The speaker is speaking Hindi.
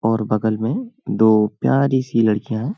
और बगल में दो प्यारी सी लड़कियां --